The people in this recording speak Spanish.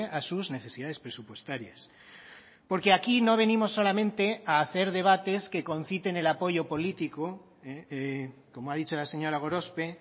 a sus necesidades presupuestarias porque aquí no venimos solamente a hacer debates que conciten el apoyo político como ha dicho la señora gorospe